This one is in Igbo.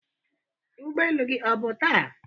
ụgbọ elu gị ọ bụ taa?